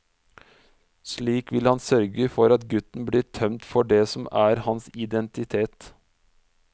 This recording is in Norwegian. Slik vil han sørge for at gutten blir tømt for det som er hans identitet.